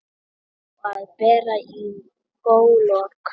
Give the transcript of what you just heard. Á að bera í góulok.